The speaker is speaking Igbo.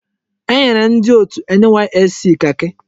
Enyere ndi otu NYSC kaki.